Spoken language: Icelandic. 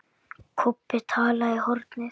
Kobbi talaði í hornið.